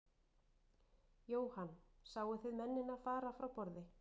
Jóhann: Sáu þið mennina fara frá borði?